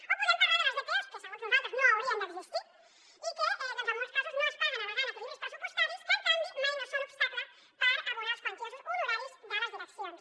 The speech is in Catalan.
o podem parlar de les dpos que segons nosaltres no haurien d’existir i que en molts casos no es paguen al·legant equilibris pressupostaris que en canvi mai no són obstacle per abonar els quantiosos honoraris de les direccions